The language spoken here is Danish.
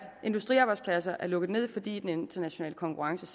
industriarbejdspladser er lukket med fordi den internationale konkurrence